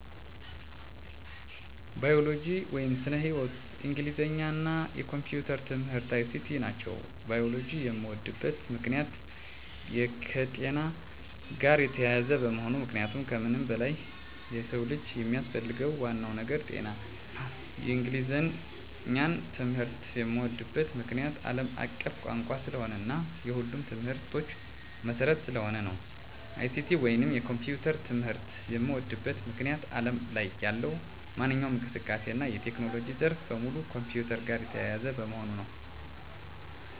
ባዮሎጂ (ስነ-ህይዎት)፣ እንግሊዘኛ እና የኮምፒዩተር ትምህርት(ICT) ናቸው። ባዮሎጂን የምወድበት ምክንያት - የከጤና ጋር የተያያዘ በመሆኑ ምክንያቱም ከምንም በላይ የሰው ልጅ የሚያስፈልገው ዋናው ነገር ጤና ነው። እንግሊዘኛን ትምህርት የምዎድበት ምክንያት - አለም አቀፍ ቋንቋ ስለሆነ እና የሁሉም ትምህርቶች መሰረት ስለሆነ ነው። ICT ወይንም የኮምፒውተር ትምህርት የምዎድበት ምክንያት አለም ላይ ያለው ማንኛውም እንቅስቃሴ እና የቴክኖሎጂ ዘርፍ በሙሉ ከኮምፒውተር ጋር የተያያዘ በመሆኑ ነው።